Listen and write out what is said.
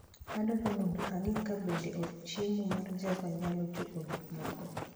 Adwaro mondo ang'e kabende od chiemo mar java nyalo chopo gik moko